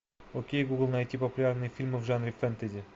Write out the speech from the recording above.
окей гугл найти популярные фильмы в жанре фэнтези